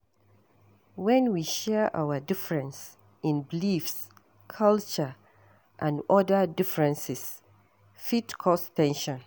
When we share our difference in beliefs, culture and oda differences fit cause ten sion